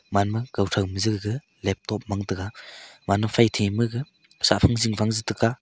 manma kau tho je gag laptop mang tega gaman phaithai ma gag chah phang jing fang je taga.